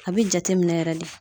A bɛ jateminɛ yɛrɛ de